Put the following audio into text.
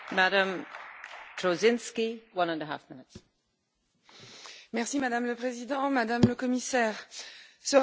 Madame la Présidente, Madame la Commissaire, ce rapport fait état de la mise en œuvre par les États membres du système de décision de protection européenne.